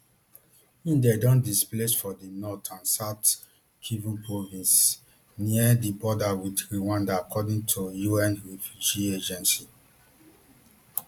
im dem don displaced for di north and south kivu provinces near di border wit rwanda according to un refugee agency